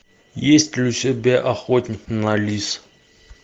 есть ли у тебя охотник на лис